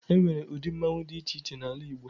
E nwere udi mmọnwụ dị iche iche n'ala Igbo.